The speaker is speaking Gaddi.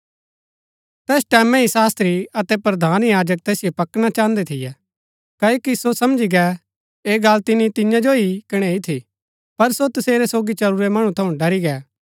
तैस टैमैं ही शास्त्री अतै प्रधान याजक तैसिओ पकड़ना चाहन्दै थियै क्ओकि सो समझी गै ऐह गल्ल तिनी तियां जो ही कणैई थी पर सो तसेरै सोगी चलुरै मणु थऊँ ड़री गै